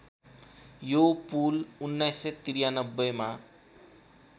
यो पुल १९९३ मा